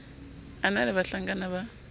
a na le bahlankana ba